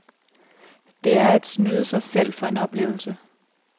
Det er at snyde sig selv for en oplevelse.